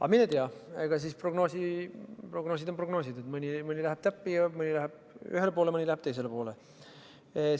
Aga mine tea, prognoosid on prognoosid: mõni läheb täppi, mõni läheb ühele poole, mõni läheb teisele poole.